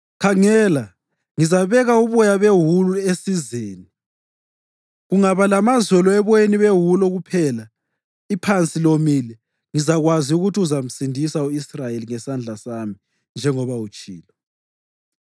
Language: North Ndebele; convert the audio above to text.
khangela ngizabeka uboya bewulu esizeni. Kungaba lamazolo eboyeni bewulu kuphela iphansi lomile, ngizakwazi ukuthi uzamsindisa u-Israyeli ngesandla sami njengoba utshilo.”